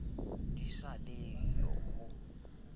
di sa le yo ho